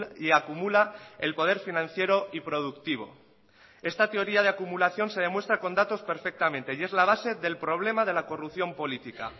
y acumula el poder financiero y productivo esta teoría de acumulación se demuestra con datos perfectamente y es la base del problema de la corrupción política